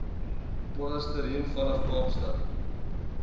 polarstern vanaf kaapstad